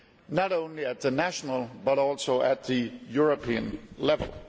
not only at the national but also at the European level.